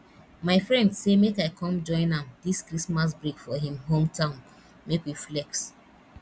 my friend say make i come join am dis christmas break for him hometown make we flex